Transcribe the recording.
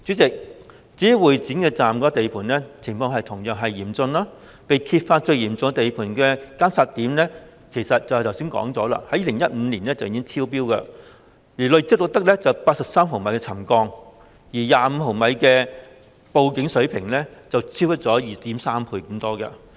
代理主席，會展站地盤的情況同樣嚴峻，正如剛才提到，報道指沉降最嚴重的監測點，早在2015年已經超標，累積錄得83毫米沉降，較25毫米的警報水平超出 2.3 倍。